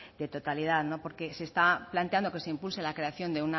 de totalidad porque se está planteando que se impulse la creación